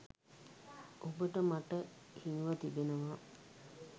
ඔබට මට හිමිව තිබෙනවා.